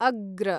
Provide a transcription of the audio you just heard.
अग्र